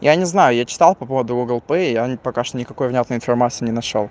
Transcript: я не знаю я читал по поводу гугл пэй и я пока что никакой внятной информации не нашёл